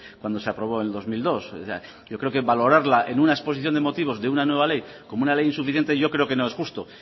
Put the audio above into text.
cuando se aprobó en dos mil dos yo creo que valorarla en una exposición de motivos de una nueva ley como una ley insuficiente yo creo que no es justo